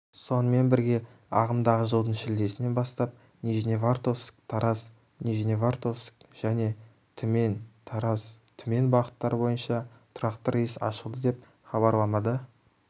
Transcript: сонымен бірге ағымдағы жылдың шілдесінен бастап нижневартовск-тараз-нижневартовск және түмен-тараз-түмен бағыттар бойынша тұрақты рейс ашылды деп хабарламада